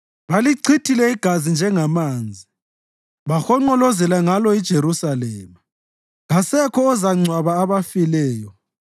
Balichithile igazi njengamanzi bahonqolozela ngalo iJerusalema, kasekho ozangcwaba abafileyo.